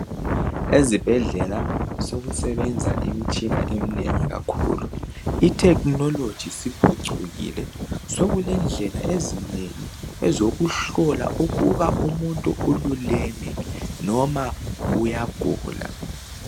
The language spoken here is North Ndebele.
Ezibhedlela sekusebenza imitshina imitshina eminengi. Itechnology isiphucukile. Sekulendlela ezinengi. Ezokuhlola ukutba umuntu ululeme, nomqa uyagula.